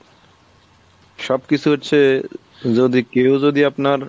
সব কিছু হচ্ছে যদি কেও যদি আপনার